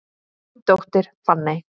Þín dóttir, Fanney.